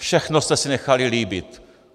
Všechno jste si nechali líbit!